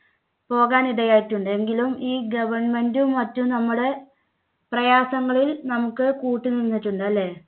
പോകാനിടയായിട്ടുണ്ട്. എങ്കിലും ഈ government മറ്റും നമ്മുടെ പ്രയാസങ്ങളിൽ നമുക്ക് കൂട്ടുനിന്നിട്ടുണ്ട് അല്ലേ?